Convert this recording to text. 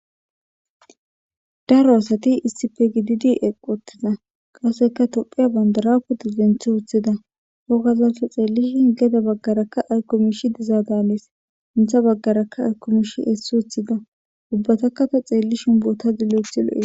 daro asati issife gididi eqqottiza qaseka topheya bandaraku di denthi woththida hogazasta xeellishin geda baggarakka aykomishi dizaa daanees intha baggarakka arkumish hessi woththida ubbataka ta xeelli shimboota gilloethi lo7ee